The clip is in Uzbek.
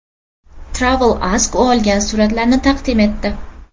Travel Ask u olgan suratlarni taqdim etdi.